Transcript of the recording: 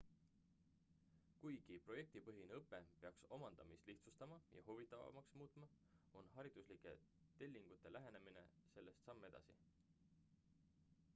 kuigi projektipõhine õpe peaks omandamist lihtsustama ja huvitavamaks muutma on hariduslike tellingute lähenemine sellest samm edasi